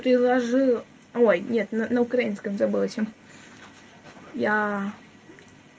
предложи ой нет на украинском забыла чем я